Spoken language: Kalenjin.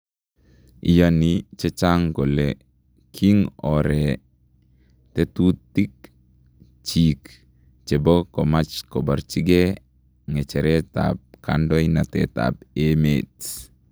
Iyanii chechang kole king'oore tetutiik chik chebo komach kobarchikee ng'e heretab kandoindetab emeet